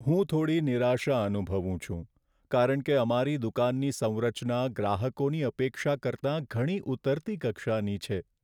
હું થોડી નિરાશા અનુભવું છું કારણ કે અમારી દુકાનની સંરચના ગ્રાહકોની અપેક્ષા કરતાં ઘણી ઊતરતી કક્ષાની છે.